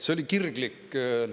See oli kirglik.